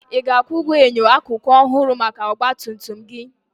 Ị ga-akwụ ụgwọ enyo akụkụ ọhụrụ maka ọgba tum tum gị?